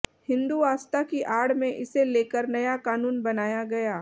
हिन्दु आस्था की आड़ में इसे लेकर नया क़ानून बनाया गया